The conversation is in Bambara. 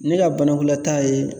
Ne ka banakunbɛta ye